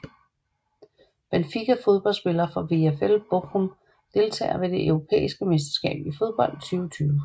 Benfica Fodboldspillere fra VfL Bochum Deltagere ved det europæiske mesterskab i fodbold 2020